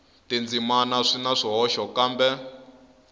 tindzimana swi na swihoxo kambe